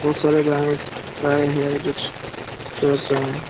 बहुत सारे गाय स गाय हैं जो स चर रहे हैं ।